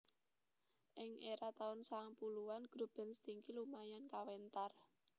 Ing era taun sangang puluhan grup band Stinky lumayan kawentar